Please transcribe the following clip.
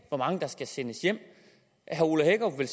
hvor mange der skal sendes hjem herre ole hækkerup vil